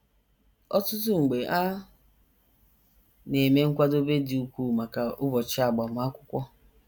Ọtụtụ mgbe, a na - eme nkwadebe dị ukwuu maka ụbọchị agbamakwụkwọ.